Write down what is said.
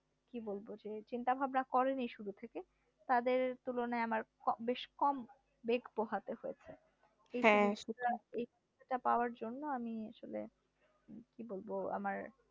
কি বলব যে চিন্তা ভাবনা করেনি শুরু থেকে তাদের তুলনায় আমার বেশ কম বেগ পোহাতে হয়েছে এইটা পাওয়ার জন্য আমি আসলে কি বলবো আমার